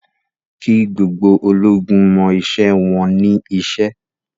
Kí gbogbo ológun mọ iṣẹ́ wọn ní iṣẹ́!